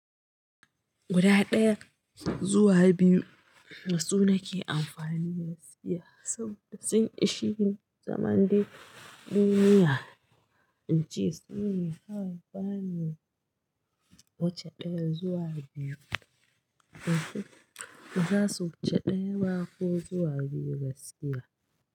Guda ɗaya, zuwa biyu dasu nake amfani gaskiya saboda sun ishe ni zaman dai duniya, an ce su ne kawai ba ni wuce ɗaya zuwa biyu. In su, in za su wuce ɗaya ma ko zuwa biyu gaskiya.